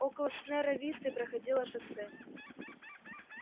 около снерра висты проходило шоссе